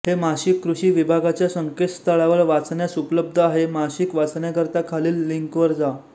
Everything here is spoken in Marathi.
हे मासिक कृषी विभागाच्या संकेतस्थळावर वाचण्यास उपलब्ध आहे मासिक वाचण्याकरीता खालील लिंकवर जा